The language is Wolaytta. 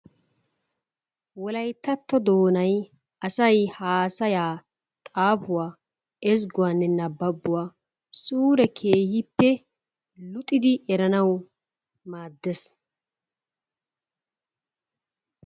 wolayttatto doonay asay haasayaa xaafuwa ezzguwanne nababbuwa suure keehippe luxidi erannawu maadees.